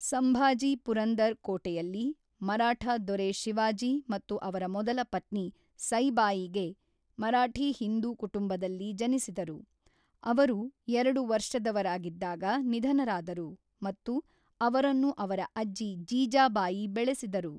ಸಂಭಾಜಿ ಪುರಂದರ್ ಕೋಟೆಯಲ್ಲಿ ಮರಾಠ ದೊರೆ ಶಿವಾಜಿ ಮತ್ತು ಅವರ ಮೊದಲ ಪತ್ನಿ ಸೈಬಾಯಿಗೆ ಮರಾಠಿ ಹಿಂದೂ ಕುಟುಂಬದಲ್ಲಿ ಜನಿಸಿದರು, ಅವರು ಎರಡು ವರ್ಷದವರಾಗಿದ್ದಾಗ ನಿಧನರಾದರು ಮತ್ತು ಅವರನ್ನು ಅವರ ಅಜ್ಜಿ ಜೀಜಾಬಾಯಿ ಬೆಳೆಸಿದರು.